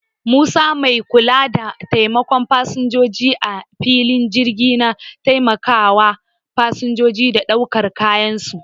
Musa mai kula da taimakawa fasinjoji a filin jirgi na taimakawa fasinjoji da daukar kayan su.